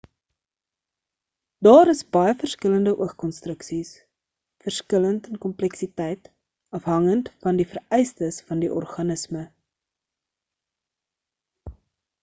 daar is baie verskillende oog konstruksies verskillend in kompleksiteit afhangend van die vereistes van die organisme